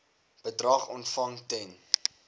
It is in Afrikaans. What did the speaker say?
bedrag ontvang ten